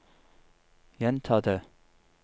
gjenta det